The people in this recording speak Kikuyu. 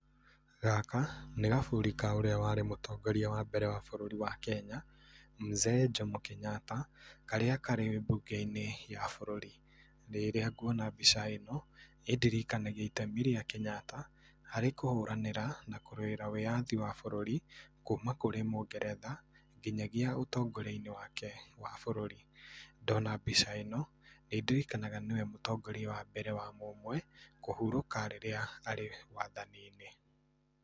Gaka nĩ gaburi ka ũrĩa warĩ mũtongoria wa mbere wa bũrũri wa Kenya mzee Jomo Kenyatta karĩa karĩ mbũnge-inĩ ya bũrũri, rĩrĩa ngũona mbica ĩno ĩndirikanagia itemi rĩa Kenyatta harĩ kũhũranĩra na kũrũĩrĩra wĩyathi wa bũrũri kuma kũrĩ mũngeretha nginyagia ũtongoria-inĩ wake wa bũrũri. Ndona mbica ĩno nĩndirikanaga nĩwe mũtongoria wa mbere wa mũmwe kũhurũka rĩrĩa arĩ wathani-inĩ.